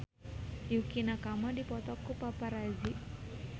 Yukie Nakama dipoto ku paparazi